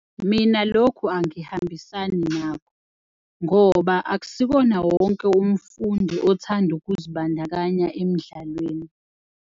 Mina lokhu angihambisani nako ngoba akusikona wonke umfundi othanda ukuzibandakanya emidlalweni.